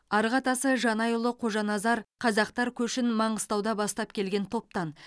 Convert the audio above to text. арғы атасы жаңайұлы қожаназар қазақтар көшін маңғыстауға бастап келген топтан